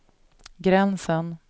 gränsen